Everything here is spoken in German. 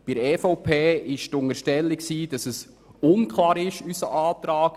Die EVP hat unterstellt, dass unser Antrag unklar ist.